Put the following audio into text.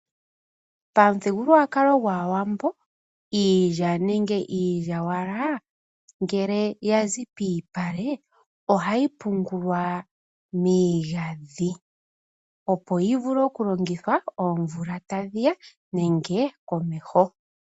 Momuthigululwakalo gAawambo, iilya nenge iilyawala ngele yazi pomalupale, ohayi pungulwa miigandhi opo yi vule okulongithwa oomvula tadhi ya, nenge komeho.